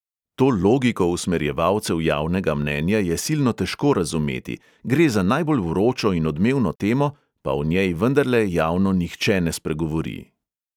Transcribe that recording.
To logiko usmerjevalcev javnega mnenja je silno težko razumeti, gre za najbolj vročo in odmevno temo, pa o njej vendarle javno nihče ne spregovori.